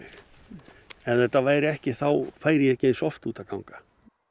ef þetta væri ekki færi ég ekki eins oft út að ganga